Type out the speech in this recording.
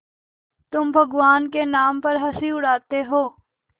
तुम भगवान के नाम पर हँसी उड़ाते हो